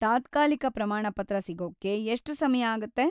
ತಾತ್ಕಾಲಿಕ ಪ್ರಮಾಣಪತ್ರ ಸಿಗೋಕ್ಕೆ ಎಷ್ಟು ಸಮಯ ಆಗತ್ತೆ?